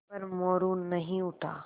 पर मोरू नहीं उठा